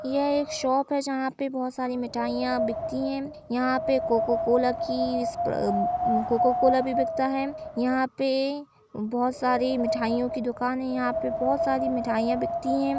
यह एक शॉप है जहाँ पे बहोत सारी मिठाईयाँ बिकती हैं। यहाँ पे कोको कोला की इस्परा अम् अ कोको कोला भी बिकता हैं। यहाँ पे बहोत सारी मिठाईयों की दुकान हैं। यहाँ पे बहोत सारी मिठाईयाँ बिकती हैं।